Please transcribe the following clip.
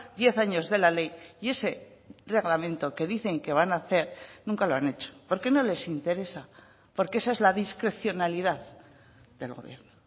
diez años de la ley y ese reglamento que dicen que van a hacer nunca lo han hecho porque no les interesa porque esa es la discrecionalidad del gobierno